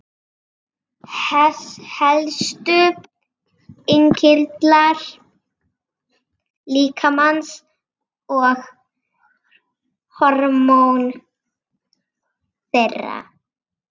Helstu innkirtlar líkamans og hormón þeirra.